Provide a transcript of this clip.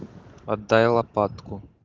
отдай лопатку